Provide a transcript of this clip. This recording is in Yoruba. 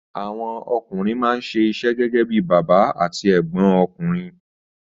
Àwọn ọkùnrin máa ń ṣe iṣẹ́ gẹ́gẹ́ bí bàbá àti ẹ̀gbọ́n ọkùnrin.